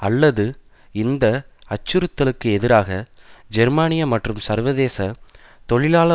அல்லது இந்த அச்சுறுத்தலுக்கு எதிராக ஜெர்மானிய மற்றும் சர்வேதேச தொழிலாள